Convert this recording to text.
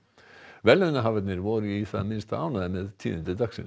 verðlaunahafarnir voru í það minnsta ánægðir með tíðindi dagsins